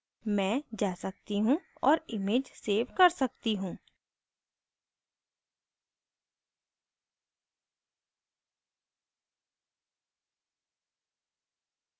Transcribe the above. मैं जा सकती हूँ और image सेव कर सकती हूँ